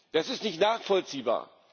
Das ist nicht nachvollziehbar.